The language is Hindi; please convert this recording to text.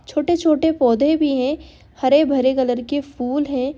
छोटे- छोटे पौधे भी हैं हरे-भरे कलर के फूल हैं।